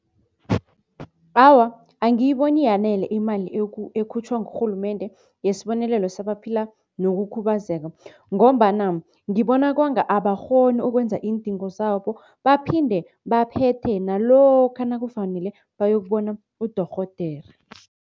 Awa, angiyiboni iyanele imali ekhutjhwa ngurhulumende yesibonelelo sabaphila ngokukhubazeka ngombana ngibona kwanga abakghoni ukwenza iindingo zabo. Baphinde baphethe nalokha nakufanele bayokubona udorhodere.